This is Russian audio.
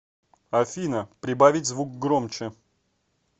афина прибавить звук громче